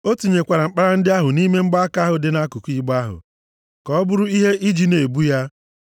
O tinyekwara mkpara ndị ahụ nʼime mgbaaka ahụ dị nʼakụkụ igbe ahụ; ka ọ bụrụ ihe iji na-ebu ya.